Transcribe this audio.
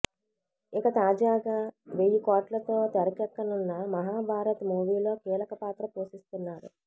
ఇక తాజాగా వెయ్యి కోట్లతో తెరకెక్కనున్న మహాభారత్ మూవీలో కీలక పాత్ర పోషిస్తున్నాడు